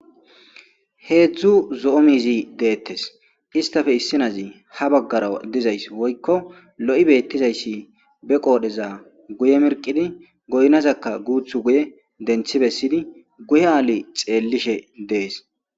heedzdzu zo7o miizi deettes istafe issinazi ha baggara dizays woykko lo7i beettizayssi be qoodheza guye mirqidi goynazakka guuthu guye denthi bessidi guye aali xeellishe dees